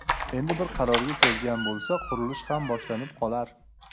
Endi bir qarorga kelgan bo‘lsa qurilish ham boshlanib qolar.